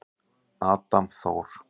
Adam Þór.